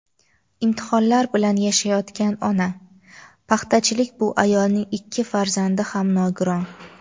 Imtihonlar bilan yashayotgan ona: paxtachilik bu ayolning ikki farzandi ham nogiron.